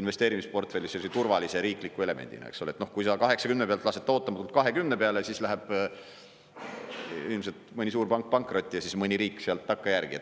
investeerimisportfellis turvalise riikliku elemendina, eks ole, kui sa 80 pealt lased ta ootamatult 20 peale, siis läheb ilmselt mõni suurpank pankrotti ja siis mõni riik sealt takkajärgi.